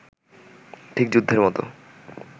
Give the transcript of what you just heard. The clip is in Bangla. ঠিক যুদ্ধের মতো